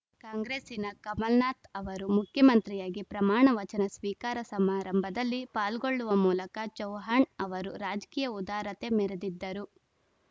ಕಾಂಗ್ರೆಸ್ಸಿನ ಕಮಲನಾಥ್‌ ಅವರು ಮುಖ್ಯಮಂತ್ರಿಯಾಗಿ ಪ್ರಮಾಣವಚನ ಸ್ವೀಕಾರ ಸಮಾರಂಭದಲ್ಲಿ ಪಾಲ್ಗೊಳ್ಳುವ ಮೂಲಕ ಚೌಹಾಣ್‌ ಅವರು ರಾಜಕೀಯ ಉದಾರತೆ ಮೆರೆದಿದ್ದರು